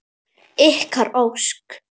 Ykkar Ósk.